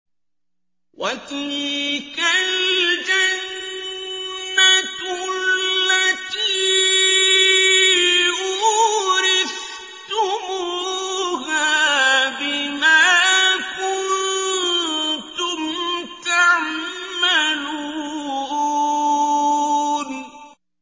وَتِلْكَ الْجَنَّةُ الَّتِي أُورِثْتُمُوهَا بِمَا كُنتُمْ تَعْمَلُونَ